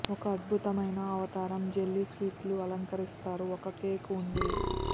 ఒక అద్భుతమైన అవతారం జెల్లీ స్వీట్లు అలంకరిస్తారు ఒక కేక్ ఉంది